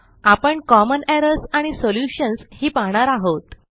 आपणcommon errors आणि solutions ही पाहणार आहोत